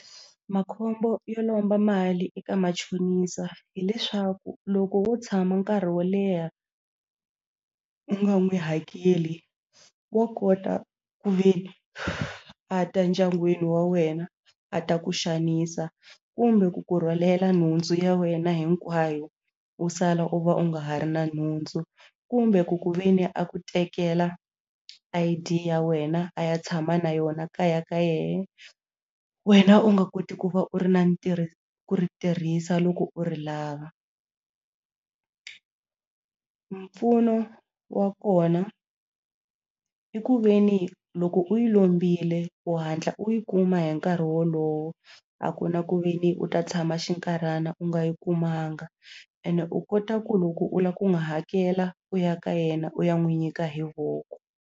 Makhombo yo lomba mali eka machonisa hileswaku loko wo tshama nkarhi wo leha u nga n'wi hakeli wo kota ku ve ni a ta ndyangwini wa wena a ta ku xanisa kumbe ku kurhwalela nhundzu ya wena hinkwayo u sala u va u nga ha ri na nhundzu kumbe ku ku ve ni a ku tekela I_D ya wena a ya tshama na yona kaya ka yena wena u nga koti ku va u ri na ntirho ku ri tirhisa loko u ri lava mpfuno wa kona i ku ve ni loko u yi lombile u hatla u yi kuma hi nkarhi wolowo a ku na ku ve ni u ta tshama xinkarhana u nga yi kumanga ene u kota ku loko u lava ku n'wi hakela u ya ka yena u ya n'wi nyika hi voko.